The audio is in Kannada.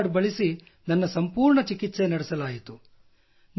ಅದೇ ಕಾರ್ಡ್ ಬಳಸಿ ನನ್ನ ಸಂಪೂರ್ಣ ಚಿಕಿತ್ಸೆ ನಡಲಾಯಿತು